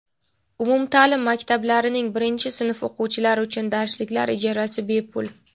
Umumtaʼlim maktablarining birinchi sinf o‘quvchilari uchun darsliklar ijarasi – bepul.